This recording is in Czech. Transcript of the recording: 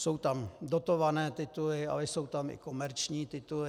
Jsou tam dotované tituly, ale jsou tam i komerční tituly.